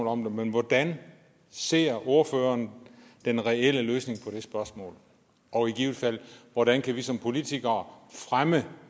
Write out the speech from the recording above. om dem men hvordan ser ordføreren den reelle løsning på det spørgsmål og i givet fald hvordan kan vi som politikere fremme